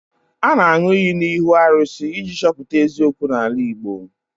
A na-aṅụ iyi n'ihu arụsị iji chọpụta eziokwu n'ala Igbo